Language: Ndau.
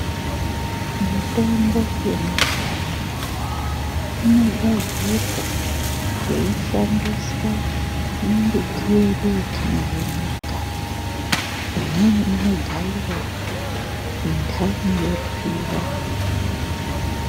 Mitombo yemazuva ano inogadzirwa kweishandiswa mimbiti yedu yetinayo mumakanyi imweni inogaiwa indhani yotwiwa.